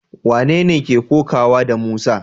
Wanene ke kokawa da Musa?